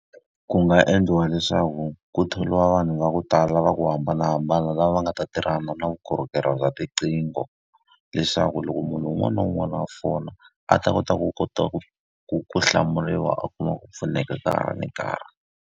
Ku nga endliwa leswaku ku thoriwa vanhu va ku tala va ku hambanahambana lava va nga ta tirhana na vukorhokeri bya tiqingho. Leswaku loko munhu un'wana na un'wana a fona, a ta kota ku kota ku ku ku hlamuriwa a kuma ku pfuneka ka ha ri nkarhi.